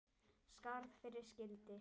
Skarð fyrir skildi.